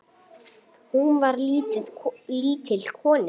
Hún var lítil kona.